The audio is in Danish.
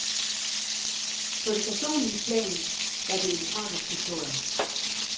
På det personlige plan er det en tragisk historie.